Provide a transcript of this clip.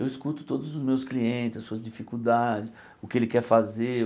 Eu escuto todos os meus clientes, as suas dificuldades, o que ele quer fazer.